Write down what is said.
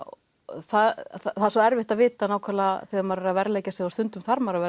það er svo erfitt að vita nákvæmlega þegar maður er að verðleggja sig og stundum þarf maður að